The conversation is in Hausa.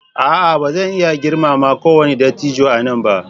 A'a! Ba zan iya girmama kowane dattijo a nan ba.